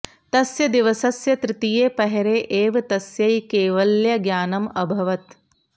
तस्य दिवसस्य तृतीये प्रहरे एव तस्यै कैवल्यज्ञानम् अभवत्